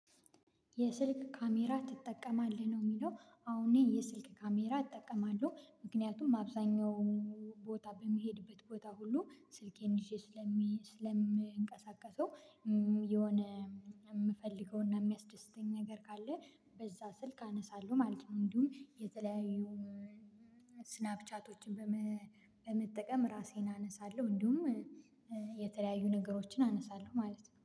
የስልክ ካሜራ ትጠቀማለህ ነው የሚለው አሁን እኔ የስልክ ካሜራ እጠቀማለሁ። ምክንያቱም አብዛኛው ቦታ በምሄድበት ቦታ ሁሉ ስልኬን ይዤ ስለሚ ስለምንቀሳቀሰው የሆነ የምፈልገውና የሚያስደስተኝ ነገር ካለ በዛ ስልክ አነሳለሁ ማለት ነው። እንዲሁም የተለያዩ ስናፕቻቶችን በመ በመጠቀም እራሴን አነሳለሁ፤ እንዲሁም የተለያዩ ነገሮችን አነሳለሁ ማለት ነው።